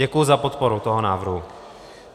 Děkuji za podporu toho návrhu.